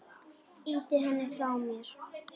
Ýti henni frá mér.